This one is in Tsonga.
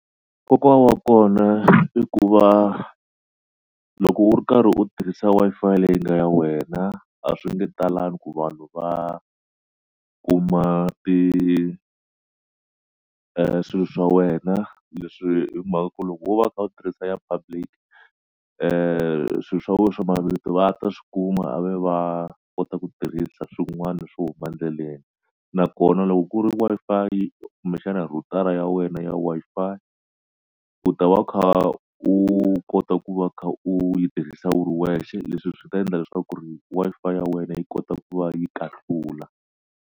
Nkoka wa kona i ku va loko u ri karhi u tirhisa Wi-Fi leyi nga ya wena a swi nge talangi ku vanhu va kuma ti swilo swa wena leswi hi mhaka ku loko wo va u kha u tirhisa ya public swilo swa wena swa mavito va ta swi kuma a ve va kota ku tirhisa swin'wana swo huma ndleleni nakona loko ku ri Wi-Fi kumbexana rhutara ya wena ya Wi-Fi u ta va u kha u kota ku va u kha u yi tirhisa u ri wexe leswi swi ta endla leswaku ku ri Wi-Fi ya wena yi kota ku va yi kahlula.